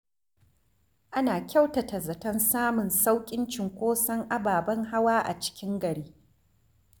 Ana kyautata zaton samun sauƙin cunkoson ababen hawa a cikin gari.